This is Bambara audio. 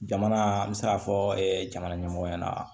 Jamana an bɛ se k'a fɔ jamana ɲɛmɔgɔ ɲɛna